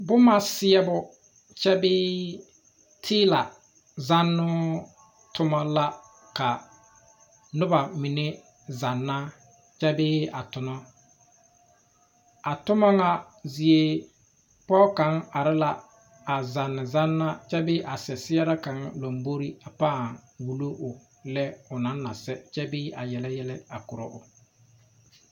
Boma seɛbo kyɛ bee teela zannoo toma la ka a nobamine zanna kyɛ bee a tona a toma ŋa zie pɔge kaŋa are la a zannezanna kyɛ bee a seɛseɛrɛ kaŋa lombori a pãã wulo o lɛ ona na sɛ kyɛ bee a yele yɛlɛ a kora o.